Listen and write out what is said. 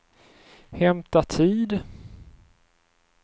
hämta tid